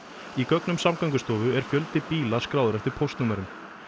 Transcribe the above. í gögnum Samgöngustofu er fjöldi bíla skráður eftir póstnúmerum